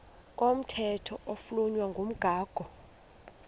komthetho oflunwa ngumgago